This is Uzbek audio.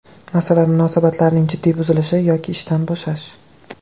Masalan, munosabatlarning jiddiy buzilishi yoki ishdan bo‘shash.